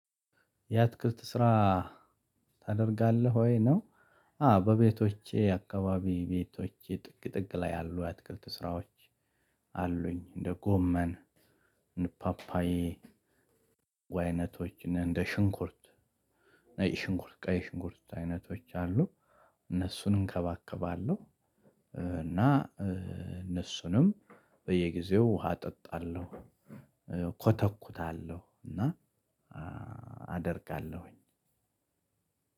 የአትክልት ስራ ታደርጋለህ ወይ ነው? አዎ በቤቶቼ አካባቢ ቤቶቼ ጥግ ጥግ ላይ ያሉ የአትክልት ስራዎች አሉኝ እንደ ጎመን እንደ ፓፓዬ አይነቶች እንደ ሽንኩርት ነጭ ሽንኩርት ቀይ ሽንኩርት አይነቶች አሉ እነሱን እንከባከባለው። እና እነሱንም በየጊዜው ውሃ እጠጣለው። ኮተኩታለው እና አደርጋለሁኝ።